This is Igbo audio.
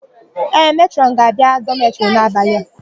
Ee, Metrọn ga-abia dọmetịrị n'abalị a.